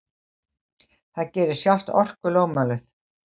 Það gerir sjálft orkulögmálið.